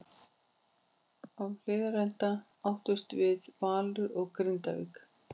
Á Hlíðarenda áttust við Valur og Grindavík.